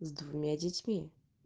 с двумя детьми